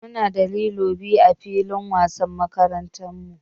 Muna da lilo biyu ã filin wasan makarantan mu.